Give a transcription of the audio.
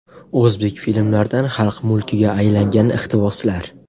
O‘zbek filmlaridan xalq mulkiga aylangan iqtiboslar.